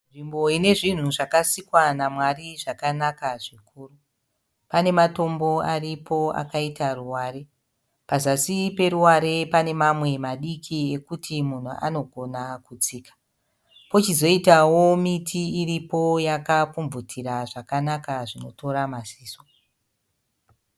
Nzvimbo ine zvinhu zvakasikwa namwari zvakanaka zvikuru. Pane matombo aripo akaita ruware. Pazasi peruware pane mamwe madiki ekuti munhu anogona kutsika. Pochizoitao miti iripo yakapfumvutira zvakanaka zvinotora maziso.